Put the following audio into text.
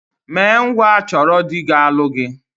Mee ngwa chọrọ dị ga-alụ gị!